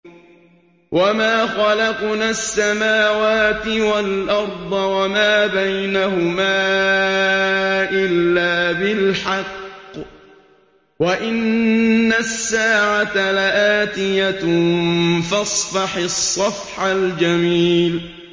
وَمَا خَلَقْنَا السَّمَاوَاتِ وَالْأَرْضَ وَمَا بَيْنَهُمَا إِلَّا بِالْحَقِّ ۗ وَإِنَّ السَّاعَةَ لَآتِيَةٌ ۖ فَاصْفَحِ الصَّفْحَ الْجَمِيلَ